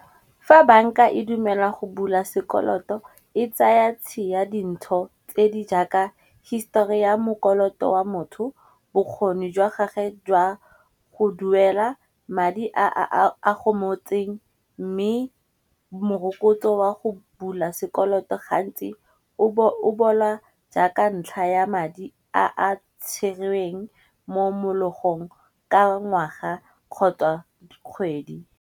Fa banka e dumela go bula sekoloto e tsaya tshi ya dintsho tse di jaaka histori ya mokoloto wa motho, bokgoni jwa gage jwa go duela madi a gomotseng. Mme morokotso wa go bula sekoloto gantsi o bola jaaka ntlha ya madi a tsherweng mo mologong ka ngwaga kgotsa kgwedi.